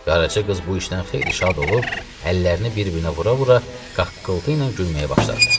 Qaraca qız bu işdən xeyli şad olub, əllərini bir-birinə vura-vura qaqqıltı ilə gülməyə başladı.